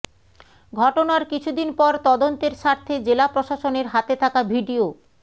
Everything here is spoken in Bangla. ঘটনার কিছু দিন পর তদন্তের স্বার্থে জেলা প্রশাসনের হাতে থাকা ভিডিও